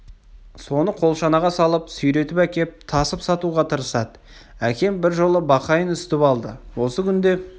соны қолшанаға салып сүйретіп әкеп тасып сатуға тырысады әкем бір жолы бақайын үсітіп алды осы күнде